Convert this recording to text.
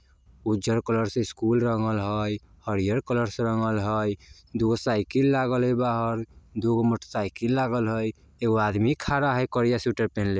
उज्जर कलर से स्कूल रंगल हई हरियर कलर से रंगल हई दू गो साइकिल लागल हई बाहर दू गो मोटसाइकिल लागल हई एगो आदमी खड़ा हई करिया स्वीटर पहिनले।